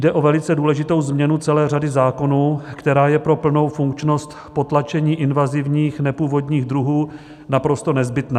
Jde o velice důležitou změnu celé řady zákonů, která je pro plnou funkčnost potlačení invazivních nepůvodních druhů naprosto nezbytná.